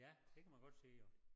Ja det kan man godt sige jo